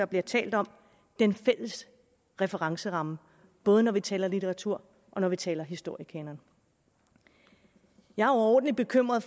bliver talt om den fælles referenceramme både når vi taler litteraturkanon og når vi taler historiekanon jeg er overordentlig bekymret